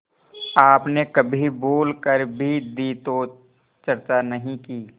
आपने कभी भूल कर भी दी तो चर्चा नहीं की